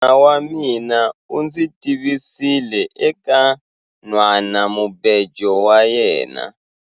Munghana wa mina u ndzi tivisile eka nhwanamubejo wa yena.